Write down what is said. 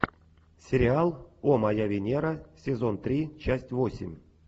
сериал о моя венера сезон три часть восемь